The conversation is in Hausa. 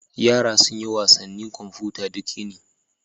Yara sun yi wasannin kwamfuta duk yini.